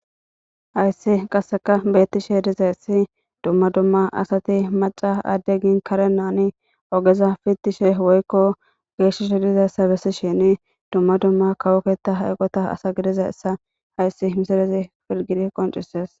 Hayssi qasseka beettishe dizayssi dumma dumma asati maca adde gin karenaani ogeza fittishe woykko geeshishe dizayssa bessi shini dumma dumma kawoketa hayqota asa gidizayessa hayssi misalezi filgiri qoncises.